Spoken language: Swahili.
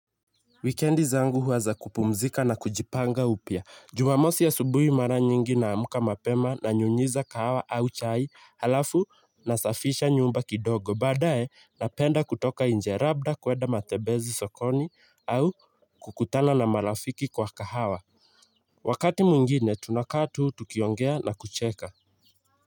Wikendi zangu huwa za kupumzika na kujipanga upya. Jumamosi asubuhi mara nyingi naamka mapema nanyunyiza kahawa au chai alafu nasafisha nyumba kidogo. Badae napenda kutoka inje labda kuenda matembezi sokoni au kukutana na marafiki kwa kahawa. Wakati mwingine tunakaa tu tukiongea na kucheka.